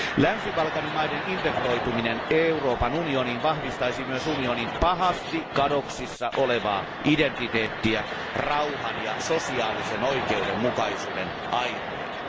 Länsi Balkanin maiden integroituminen Euroopan unioniin vahvistaisi myös unionin pahasti kadoksissa olevaa identiteettiä rauhan ja sosiaalisen oikeudenmukaisuuden airueena.